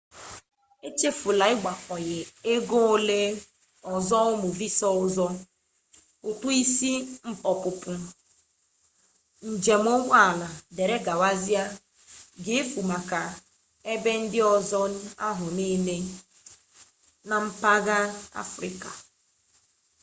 echefula igbakwunye ego ole ọzọ ụmụ visa ọzọ ụtụ isi ọpụpụ njem ụgbọ ala dgz ga-efu maka ebe ndị ọzọ ahụ niile na mpụga afrịka